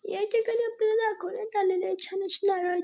या ठिकाणी आपल्याला दाखवण्यात आलेले आहे छान अशी नारळा --